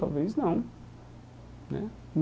Talvez não né.